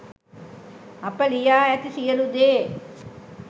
අප ලියා ඇති සියළු දේ